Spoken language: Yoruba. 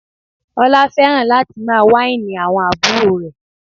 Ọlá fẹ́ràn láti máa wáìnì àwọn àbúrò rẹ̀